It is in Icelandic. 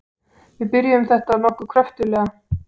Við byrjuðum þetta nokkuð kröftuglega.